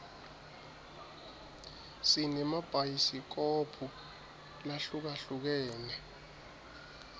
sinema bhayisikobhu lahlukahlukene